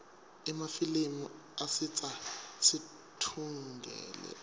emafilimi acitsa situngle